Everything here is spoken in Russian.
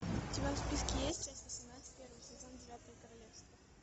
у тебя в списке есть часть восемнадцать первый сезон девятое королевство